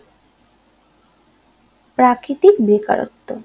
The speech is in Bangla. প্রাকৃতিক বেকারত্ব